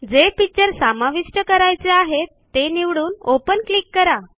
जे पिक्चर समाविष्ट करायचे आहे ते निवडून ओपन क्लिक करा